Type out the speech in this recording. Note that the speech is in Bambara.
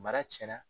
Mara tiɲɛna